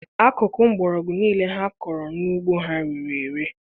Akụkụ mgbọrọgwụ niile ha kọrọ n'ugbo ha rere ere.